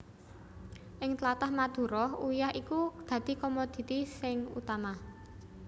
Ing tlatah Madura uyah iku dadi komoditi sing utama